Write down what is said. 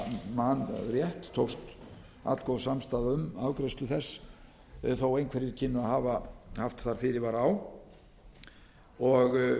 man rétt tókst allgóð samstaða um afgreiðslu þess þó einhverjir kynnu að hafa haft þar fyrirvara á og